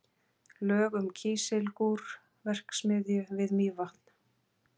Lög um Kísilgúrverksmiðju við Mývatn.